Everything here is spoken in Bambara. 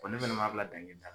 ne fɛnɛ m'a bila dange da